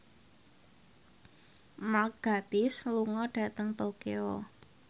Mark Gatiss lunga dhateng Tokyo